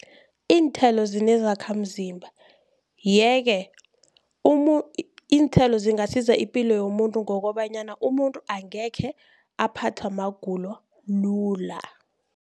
Iinthelo zinezakhamzimba, yeke iinthelo zingasiza ipilo yomuntu ngokobanyana umuntu angekhe aphathwa magulo lula.